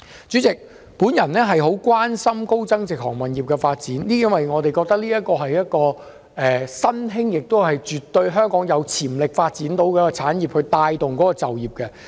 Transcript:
主席，我十分關心高增值航運業的發展，因為我認為這是一個香港絕對有潛力發展的新興產業，並可以帶動本地就業。